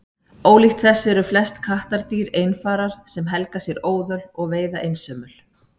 ólíkt þessu eru flest kattardýr einfarar sem helga sér óðöl og veiða einsömul